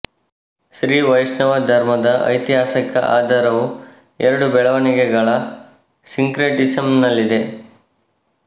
ಶ್ರೀ ವೈಷ್ಣವ ಧರ್ಮದ ಐತಿಹಾಸಿಕ ಆಧಾರವು ಎರಡು ಬೆಳವಣಿಗೆಗಳ ಸಿಂಕ್ರೆಟಿಸಂನಲ್ಲಿದೆ